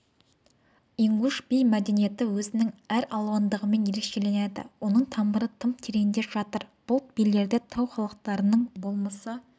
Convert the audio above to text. ингуш би мәдениеті өзінің әралуандығымен ерекшеленеді оның тамыры тым тереңде жатыр бұл билерде тау халықтарының болмысы